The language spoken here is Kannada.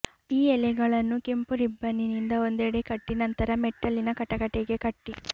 ಈ ಎಲೆಗಳನ್ನು ಕೆಂಪು ರಿಬ್ಬನ್ನಿಂದ ಒಂದೆಡೆ ಕಟ್ಟಿ ನಂತರ ಮೆಟ್ಟಲಿನ ಕಟಕಟೆಗೆ ಕಟ್ಟಿ